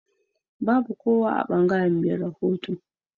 Babu kowa a bangaren me rahoto.